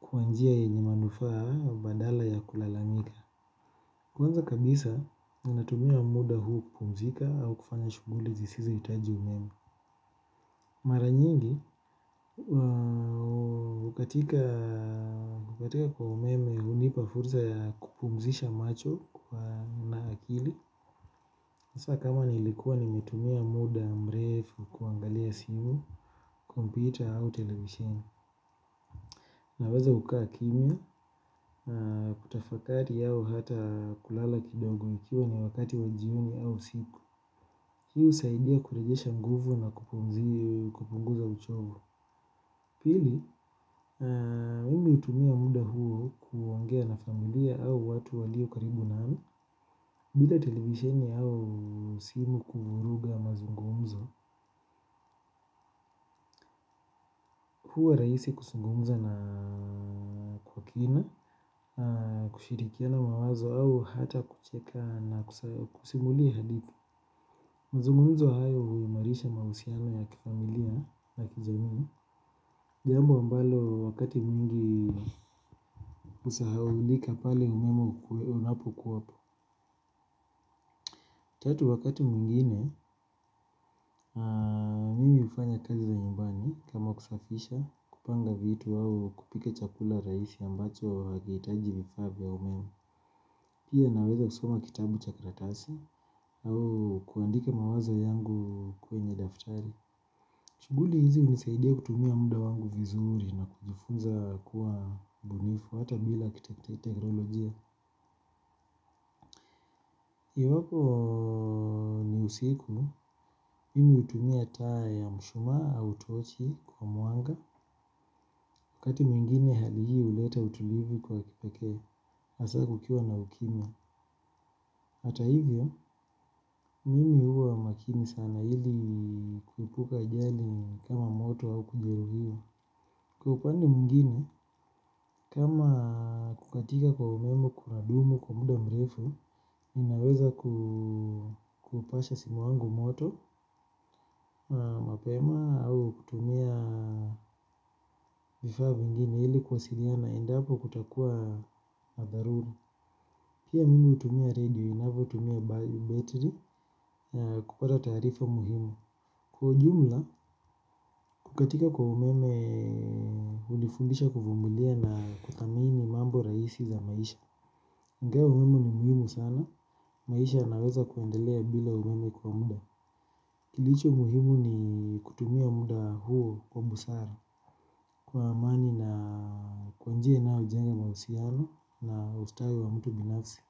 kwa njia yenye manufaa badala ya kulalamika. Kwanza kabisa natumia muda huu kupumzika au kufanya shughuli zisizohitaji umeme. Mara nyingi, katika kwa umeme hunipa fursa ya kupumzisha macho na akili. Sasa kama nilikuwa nimetumia muda, mrefu, kuangalia simu, kompyuta au televisheni naweza kukaa kimya, kutafakati au hata kulala kidogo ikiwa ni wakati wa jioni au usiku. Hii husaidia kurejesha nguvu na kupunguza uchovu pili, mimi hutumia muda huu kuongea na familia au watu walio karibu nami bila televisheni au simu kuvuruga mazungumzo. Huwa rahisi kuzungumza na kwa kina, kushirikiana mawazo au hata kucheka na kusimulia hadithi. Mazungumzo hayo huimarisha mahusiano ya kifamilia na kijamii. Jambo ambalo wakati mwingi husahaulika pale umeme unapokuwa hapo. Tatu wakati mwingine mimi hufanya kazi za nyumbani kama kusafisha kupanga vitu au kupika chakula rahisi ambacho havihitaji vifaa vya umeme. Pia naweza kusoma kitabu cha karatasi au kuandika mawazo yangu kwenye daftari. Shughuli hizi hunisaidia kutumia muda wangu vizuri na kujifunza kuwa mbunifu hata bila teknolojia. Iwapo ni usiku, mimi hutumia taa ya mshumaa au tochi kwa mwanga, wakati mwingine hali hii huuleta utulivu kwa kipekee, hasa kukiwa na ukimya. Hata hivyo, mimi huwa makini sana ili kuepuka hajali kama moto au kujeruhiwa. Kwa upande mwingine, kama kukatika kwa umeme kunadumu kwa muda mrefu, ninaweza kupasha simu yangu moto, mapema au kutumia vifaa vingine ili kuwasiliana endapo kutakuwa na dharura. Pia mimi hutumia redio inavotumia battery kupata taarifa muhimu. Kwa ujumla, kukatika kwa umeme hunifundisha kuvumilia na kuamini mambo rahisi za maisha. Ingawa umeme ni muhimu sana. Maisha yanaweza kuendelea bila umeme kwa muda. Kilicho muhimu ni kutumia muda huo kwa busara. Kwa amani na kwa njia inayojenga mahusiano na ustawi wa mtu binafsi.